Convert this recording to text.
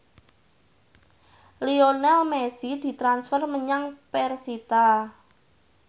Lionel Messi ditransfer menyang persita